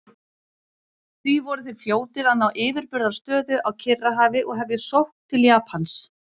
Því voru þeir fljótir að ná yfirburðastöðu á Kyrrahafi og hefja sókn til Japans.